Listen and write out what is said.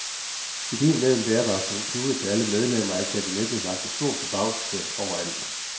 Ideen med en bærbar computer til alle medlemmer af kabinettet vakte stor forbavselse overalt.